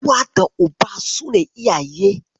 Uwa da Uba su ne iyaye.